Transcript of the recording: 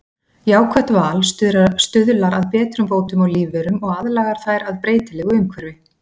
Jákvætt val stuðlar að betrumbótum á lífverum og aðlagar þær að breytilegu umhverfi.